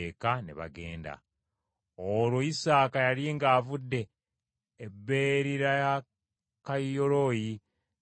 Olwo Isaaka yali ng’avudde e Beerirakayiroyi ng’ali mu Negevu.